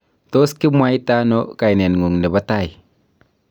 tos kimwaitano kaineng'ung' nebo tai?